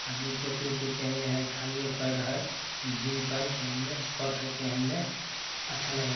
आदमी टोपी-ऊपी पेहेनले हेय। खलिए पैर हेय जींस है पेहेनले शर्ट है पेहेनले अच्छा लगे--